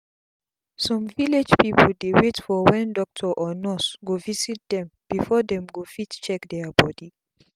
some village pipu dey wait for wen doctor or nurse go visit dem before dem go fit check dia bodi